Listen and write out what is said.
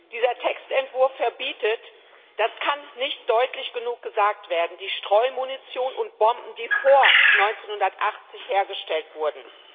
Dieser Textentwurf verbietet das kann nicht deutlich genug gesagt werden die Streumunition und bomben, die vor 1980 hergestellt wurden.